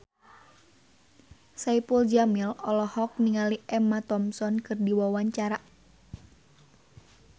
Saipul Jamil olohok ningali Emma Thompson keur diwawancara